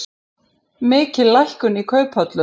Mikil lækkun í kauphöllum